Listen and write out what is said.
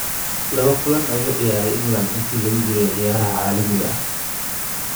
Laba kulan ayuu u ciyaaray England intii lagu jiray ciyaaraha caalamiga ah.